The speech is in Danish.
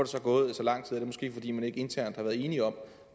så gået så lang tid er det måske fordi man ikke internt har været enige om